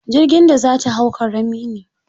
Jirgin da za ta hau ƙarami ne.